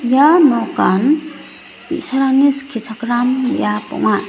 ia nokan bi·sarangni skichakram biap ong·a.